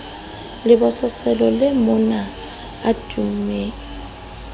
lebososelo le monaleo a tummeng